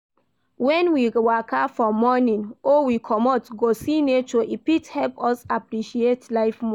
When we waka for morning or we comot go see nature e fit help us appreciate life more